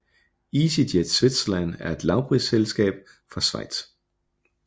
EasyJet Switzerland er et lavprisflyselskab fra Schweiz